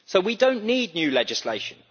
We do not need new legislation